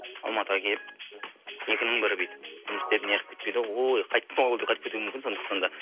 алматыға келіп екінің бірі бүйтіп жұмыс істеп неғып кетпейді ғой ой қайттым аулыға деп қайтып кетуі мүмкін сондықтан да